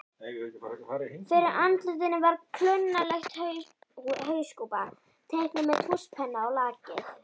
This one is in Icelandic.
Fyrir andlitinu var klunnaleg hauskúpa, teiknuð með tússpenna á lakið.